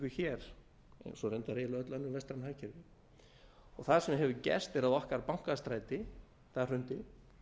hér eins og reyndar öll önnur vestræn hagkerfi það sem hefur gerst er að okkar bankastræti hrundi